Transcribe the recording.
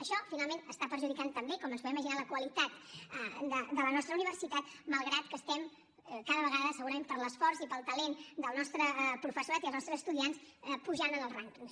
això finalment està perjudicant també com ens podem imaginar la qualitat de la nostra universitat malgrat que estem cada vegada segurament per l’esforç i pel talent del nostre professorat i els nostres estudiants pujant en els rànquings